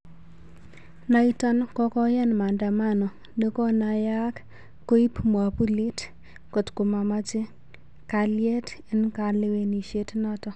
Naiton kokoyan maandamano nekonayaak koip mwapulit kotkomache kaliet en kalewenishen naton